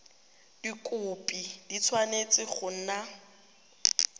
dikhopi di tshwanetse go nna